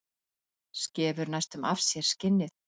Skefur næstum af sér skinnið.